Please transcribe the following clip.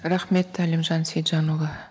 рахмет әлімжан сейітжанұлы